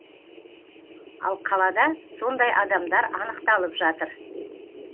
ал қалада сондай адамдар анықталып жатыр